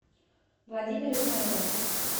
владимир измаилович